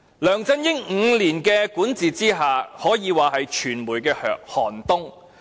梁振英的5年管治，可說是傳媒行業的寒冬。